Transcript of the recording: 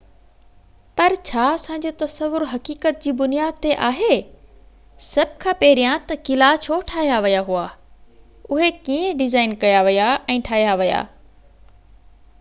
پر ڇا اسان جو تصور حقيقت جي بنياد تي آهي سڀ کان پهريان ته قلعا ڇو ٺاهيا ويا هئا اهي ڪيئن ڊزائن ڪيا ويا ۽ ٺاهيا ويا